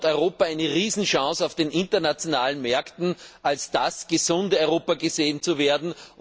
Hier hat Europa eine große Chance, auf den internationalen Märkten als das gesunde Europa gesehen zu werden.